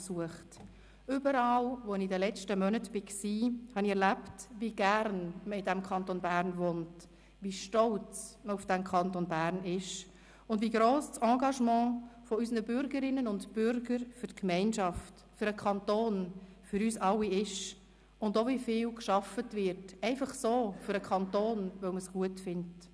Überall, wo ich in den letzten Monaten war, erlebte ich, wie gerne man in diesem Kanton Bern wohnt, wie stolz man auf den Kanton Bern ist und wie gross das Engagement unserer Bürgerinnen und Bürger für die Gemeinschaft, für den Kanton, für uns alle ist und wie viel gearbeitet wird, einfach so, für den Kanton, weil man es gut findet.